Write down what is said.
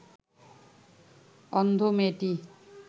অন্ধ মেয়েটি